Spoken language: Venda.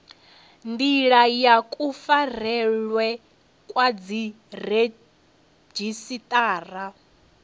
ndila ya kufarelwe kwa dziredzhisiṱara